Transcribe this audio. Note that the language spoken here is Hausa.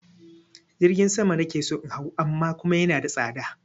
Jirgin sama na ke so in hau amma kuma yana da tsada.